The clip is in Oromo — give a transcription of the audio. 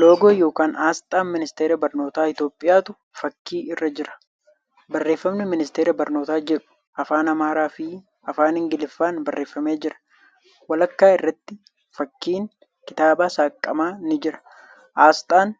Loogoo ykn Asxaan ministara barnoota Itiyoophiyaatu fakkii irra jira. Barreeffamni 'Ministara Barnootaa' jedhu Afaan Amaaraa fi Afaan Ingiliffaan barreeffamee jira. Walakkaa irratti fakkiin kitaaba saaqamaa ni jira. Asxaan